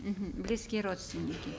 мхм близкие родственники